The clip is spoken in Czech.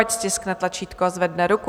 Ať stiskne tlačítko a zvedne ruku.